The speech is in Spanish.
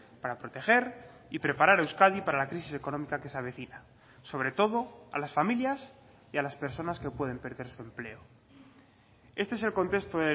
para proteger y preparar euskadi para la crisis económica que se avecina sobre todo a las familias y a las personas que pueden perder su empleo este es el contexto